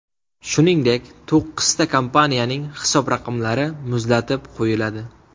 Shuningdek, to‘qqizta kompaniyaning hisob raqamlari muzlatib qo‘yiladi.